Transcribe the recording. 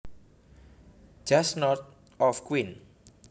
just north of Queen